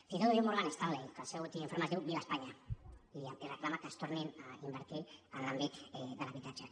fins i tot ho diu morgan stanley que el seu últim informe es diu viva españa i reclama que es torni a invertir en l’àmbit de l’habitatge